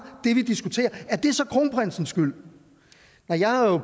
det vi diskuterer er det så kronprinsens skyld jeg har jo